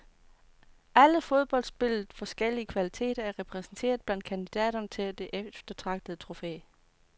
Alle fodboldspillets forskellige kvaliteter er repræsenteret blandt kandidaterne til det eftertragtede trofæ.